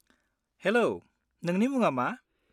-हेल', नोंनि मुङा मा?